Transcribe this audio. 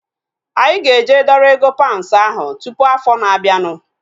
Anyị ga-eje dọrọ ego paunds ahu tụpụ afọ na-abianu